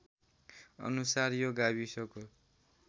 अनुसार यो गाविसको